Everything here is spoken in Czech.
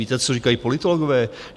Víte, co říkají politologové?